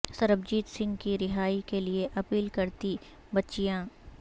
سربجیت سنگھ کی رہائی کے لیے اپیل کرتی بچیاں